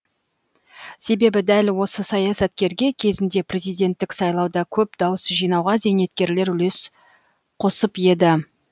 себебі дәл осы саясаткерге кезінде президенттік сайлауда көп дауыс жинауға зейнеткерлер үлес қосып еді